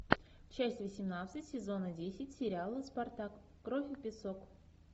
часть восемнадцать сезона десять сериала спартак кровь и песок